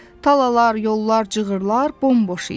Talalar, yollar, cığırlar bomboş idi.